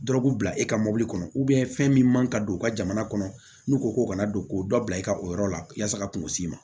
Dɔrɔgu bila e ka mɔbili kɔnɔ fɛn min man ka don u ka jamana kɔnɔ n'u ko k'u kana don ko dɔ bila i ka o yɔrɔ la yasa ka kungo s'i ma